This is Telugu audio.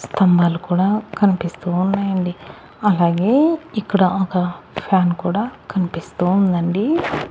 స్థంబాలు కూడా కనిపిస్తూ ఉన్నాయి అండి అలాగే ఇక్కడ ఒక ఫ్యాన్ కూడా కనిపిస్తూ ఉందండి.